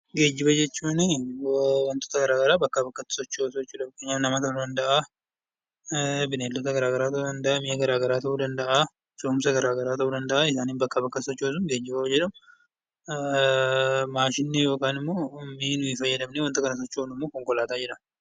Geejjiba jechuun wantoota garagaraa bakkaa bakkatti sochoosuu jechuudha. Fakkeenyaaf nama ta'uu danda'aa, bineeldota garagaraa ta'uu danda'aa, mi'a garaagaraa ta'uu danda'aa, fe'umsa garagaraa ta'uu danda'aa isaaniin bakkaa bakkatti sochoosuun yoo geejjiba jedhamu, maashinni yookanimmoo miini nuyi fayyadamnee wanta kana sochoofnummoo konkolaataa jedhama.